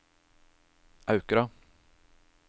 Aukra